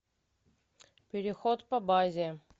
переход по базе